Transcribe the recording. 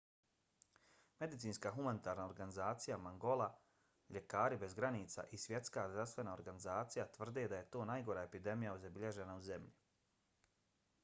medicinska humanitarna organizacija mangola ljekari bez granica i svjetska zdravstvena organizacija tvrde da je to najgora epidemija zabilježena u zemlji